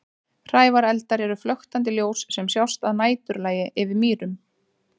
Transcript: Hrævareldar eru flöktandi ljós sem sjást að næturlagi yfir mýrum.